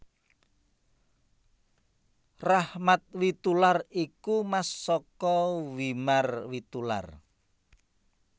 Rachmat Witoelar iku mas saka Wimar Witoelar